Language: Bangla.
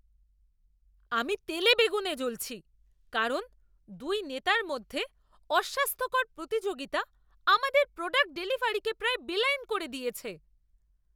আমি তেলেবেগুনে জ্বলছি কারণ দুই নেতার মধ্যে অস্বাস্থ্যকর প্রতিযোগিতা আমাদের প্রোজেক্ট ডেলিভারিকে প্রায় বেলাইন করে দিয়েছে।